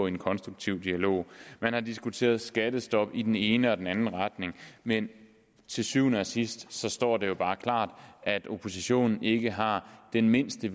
en konstruktiv dialog man har diskuteret skattestop i den ene og den anden retning men til syvende og sidst står det jo bare klart at oppositionen ikke har den mindste